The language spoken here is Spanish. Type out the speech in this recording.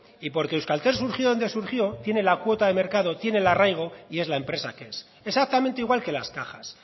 y porque euskaltel surgió de donde surgió tiene la cuota de mercado tiene el arraigo y es la empresa que es exactamente igual que las cajas